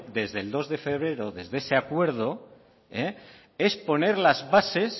desde el dos de febrero desde ese acuerdo es